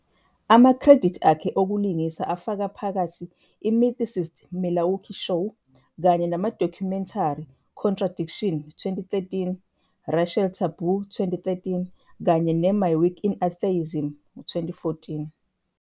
Amakhredithi akhe okulingisa afaka phakathi i-Mythicist Milwaukee Show, kanye nama-documentary Contradiction, 2013, Racial Taboo, 2013,kanye ne- My Week in Atheism, 2014.